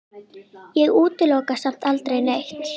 Ég útiloka samt aldrei neitt.